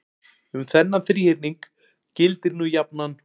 um þennan þríhyrning gildir nú jafnan